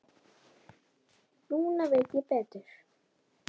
Núna veit ég betur.